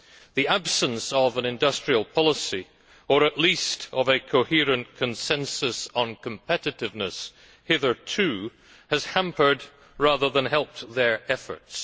The absence of an industrial policy, or at least of a coherent consensus on competitiveness, has hitherto hampered, rather than helped, their efforts.